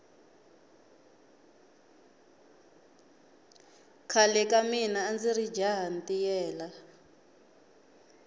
khale ka mina andziri jaha ntiyela